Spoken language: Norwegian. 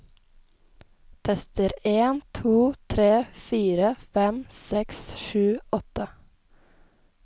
Tester en to tre fire fem seks sju åtte